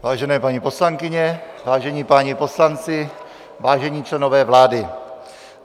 Vážené paní poslankyně, vážení páni poslanci, vážení členové vlády.